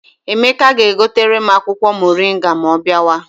Emeka ga-egotere m akwụkwọ moringa ma ọ bịawa.